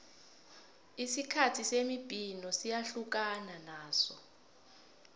isikhathi semibhino siyahlukana naso